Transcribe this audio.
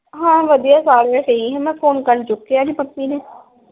ਹਾਂ ਵਧੀਆ ਸਾਰੇ ਸਹੀ ਆ। ਮੈਂ phone ਕਰਨ ਚੁਕਿਆ ਨਹੀਂ ਮੰਮੀ ਨੇ।